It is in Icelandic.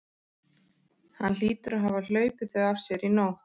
Hann hlýtur að hafa hlaupið þau af sér í nótt.